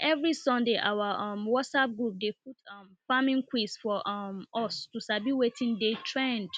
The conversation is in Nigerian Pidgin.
na every sunday our um whatsapp group dey put um farming quiz for um us to sabi wetin dey trend